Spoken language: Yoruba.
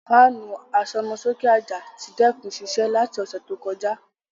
Fanu asomoke aja ti dẹkun siṣẹ lati ọsẹ to kọja.